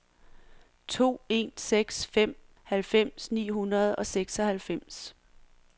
to en seks fem halvfems ni hundrede og seksoghalvfems